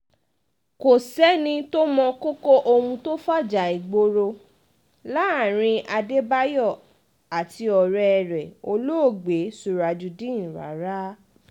kò sẹ́ni tó mọ kókó ohun tó fajà ìgboro láàrin adébáyò àti ọ̀rẹ́ rẹ̀ olóògbé surajudeen rárá